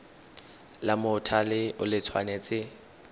la mothale o le tshwanetse